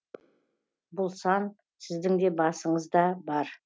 бұл сан сіздің де басыңыз да бар